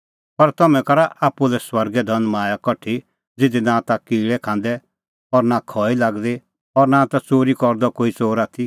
पर तम्हैं करा आप्पू लै स्वर्गै धनमाया कठा ज़िधी नां ता किल़ै खांदै और खई लागदी और नां ता च़ोरी करदअ कोई च़ोर आथी